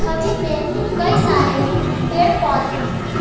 छवि में कई सारे पेड़ पौधे हैं।